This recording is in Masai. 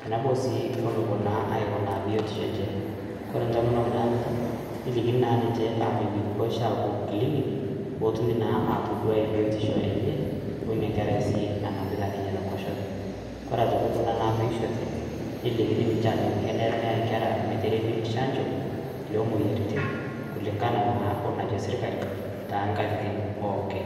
tenebo sii onopuo naa aikunaa biotisho enche, kore ntomonok naanuta nelikini naa ninche posha apuo Clinic pootumi atoduai biotisho enye oini enkerai nanapita te nkoshoke, kore aitoki kuna naatoishote nelikini ninche ajoki, kenare neya nkera meteremi Shanjo loo moyiaritin kulingana naa onajo sirkali too nkatitin pookin.